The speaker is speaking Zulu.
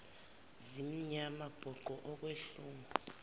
zimnyama bhuqe okwehlungu